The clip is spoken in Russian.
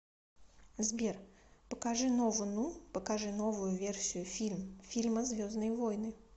сбер покажи нову ну покажи новую версию фильм фильма звездные войны